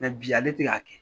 bi ale tɛ k'a kɛ.